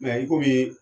i komi